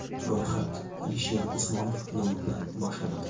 Ro‘yxat Alisher Usmonov nomi bilan boshlanadi.